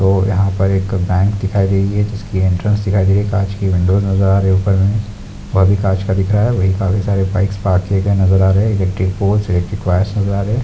और यहाँ पर बैंक दिखाई दे रही है जिसकी एंट्रेंस दिखाई दे रही है कांच की विंडोज नजर आ रहे हैं ऊपर में वहां भी कांच का दिख रहा है वहां भी काफी सारी बाइक्स पार्क किये गए नजर आ रहे हैं इलेक्ट्रिक पोल्स इलेक्ट्रिक वायर्स नज़र आ रहे हैं।